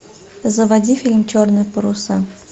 заводи фильм черные паруса